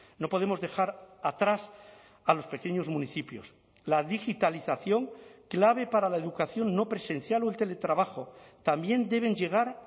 no podemos dejar atrás a los pequeños municipios la digitalización clave para la educación no presencial o el teletrabajo también deben llegar